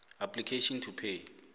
application to pay